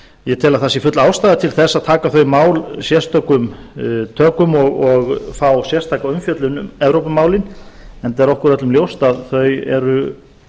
ég tel að það sé full ástæða til að taka þau mál sérstökum tökum og fá sérstaka umfjöllun um evrópumálin eða er okkur öllum ljóst að þau eru